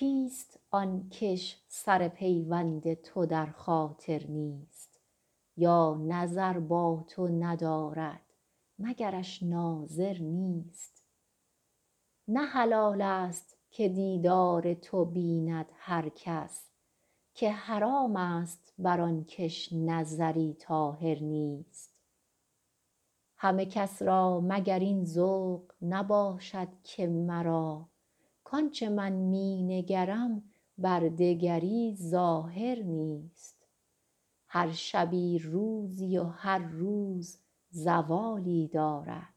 کیست آن کش سر پیوند تو در خاطر نیست یا نظر با تو ندارد مگرش ناظر نیست نه حلال ست که دیدار تو بیند هر کس که حرام ست بر آن کش نظری طاهر نیست همه کس را مگر این ذوق نباشد که مرا کآن چه من می نگرم بر دگری ظاهر نیست هر شبی روزی و هر روز زوالی دارد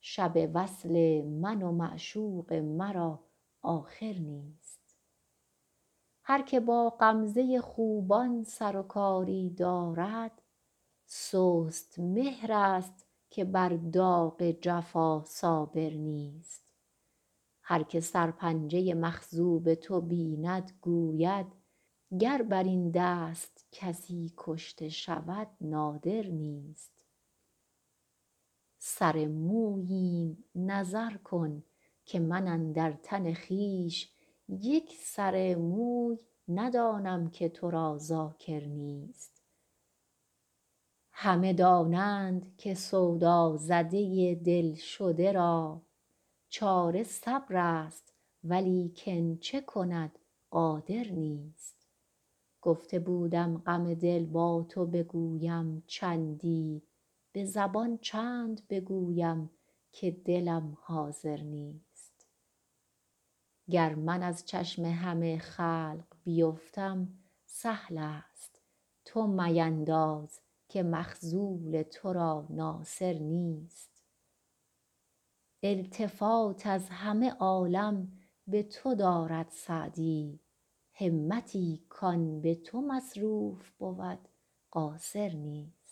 شب وصل من و معشوق مرا آخر نیست هر که با غمزه خوبان سر و کاری دارد سست مهرست که بر داغ جفا صابر نیست هر که سرپنجه مخضوب تو بیند گوید گر بر این دست کسی کشته شود نادر نیست سر موییم نظر کن که من اندر تن خویش یک سر موی ندانم که تو را ذاکر نیست همه دانند که سودازده دل شده را چاره صبرست ولیکن چه کند قادر نیست گفته بودم غم دل با تو بگویم چندی به زبان چند بگویم که دلم حاضر نیست گر من از چشم همه خلق بیفتم سهل ست تو مپندار که مخذول تو را ناصر نیست التفات از همه عالم به تو دارد سعدی همتی کآن به تو مصروف بود قاصر نیست